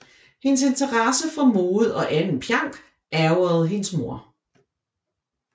Hendes interesse for mode og anden pjank ærgrede hendes mor